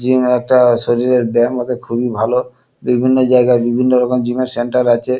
Gym একটা শরীরের ব্যায়াম ওতে খুবই ভালো। বিভিন্ন জায়াগায় বিভিন্ন রকম জিম -এর সেন্টার আছে।